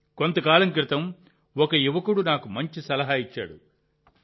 | కొంతకాలం క్రితం ఒక యువకుడు నాకు మంచి సలహా ఇచ్చారు